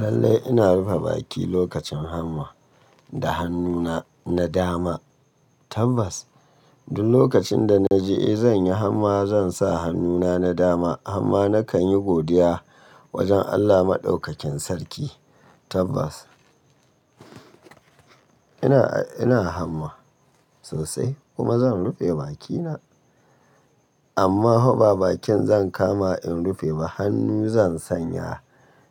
Lallai ina rufe baki lokacin hamma da hannuna na dama, tabbas. Duk lokacin da na ji eh zan yi hamma zan sa hannuna na dama. Amma na kan yi godiya wajen Allah Maɗaukakin sarki, tabbas. Ina, ina hamma sosai kuma zan rufe bakina. Amma fa ba bakin zan kama in rufe ba, hannu zan sanya